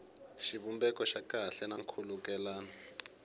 xivumbeko xa kahle na nkhulukelano